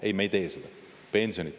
Ei, me ei tee seda!